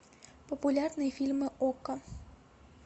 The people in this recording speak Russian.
популярные фильмы окко